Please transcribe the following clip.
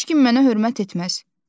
Heç kim mənə hörmət etməz.